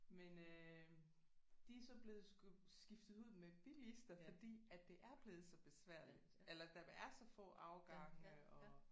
Men øh de er så blevet skiftet ud med bilister fordi at det er blevet så besværligt eller der er så få afgange og